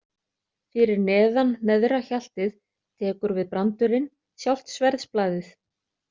Fyrir neðan neðra hjaltið tekur við brandurinn, sjálft sverðsblaðið.